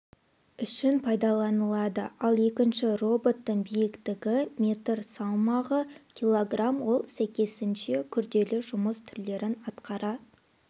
үшін пайдаланылады ал екінші роботтың биіктігі метр салмағы килограмм ол сәйкесінше күрделі жұмыс түрлерін атқара